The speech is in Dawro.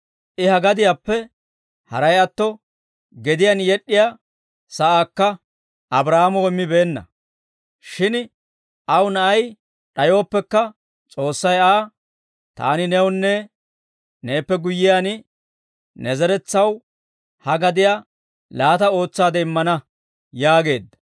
I ha gadiyaappe haray atto, gediyaan yed'd'iyaa sa'aakka Abraahaamoo immibeenna; shin aw na'ay d'ayooppekka, S'oossay Aa, ‹Taani newunne neeppe guyyiyaan, ne zeretsaw ha gadiyaa laata ootsaade immana› yaageedda.